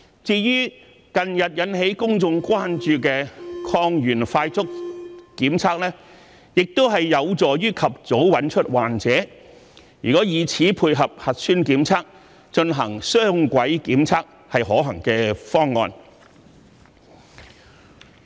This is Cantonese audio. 至於近日引起公眾關注的抗原快速檢測，亦有助及早找出患者；如果以此配合核酸檢測進行雙軌檢測，是可行的方案。